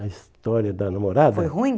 A história da namorada... Foi ruim?